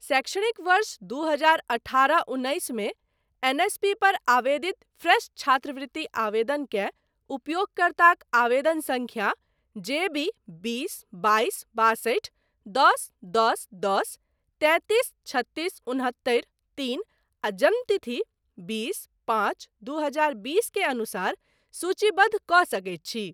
शैक्षणिक वर्ष दू हजार अठारह उन्नैस मे एनएसपी पर आवेदित फ्रेश छात्रवृति आवेदनककेँ उपयोगकर्ताक आवेदन सङ्ख्या जे बी बीस बाइस बासठि दश दश दश तैंतीस छत्तीस उन्हत्तरि तीन आ जन्म तिथि बीस पाँच दू हजार बीस के अनुसार सूचीबद्ध कऽ सकैत छी।